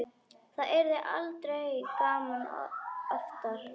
Það yrði aldrei gaman oftar.